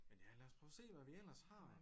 Men ja lad os prøve at se hvad vi ellers har